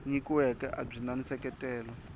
nyikiweke a byi na nseketelo